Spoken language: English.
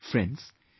Friends,